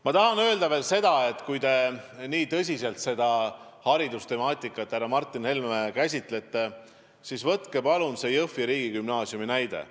Ma tahan öelda veel seda, et kui te nii tõsiselt seda haridustemaatikat, härra Martin Helme, käsitlete, siis võtke palun Jõhvi Gümnaasiumi näide.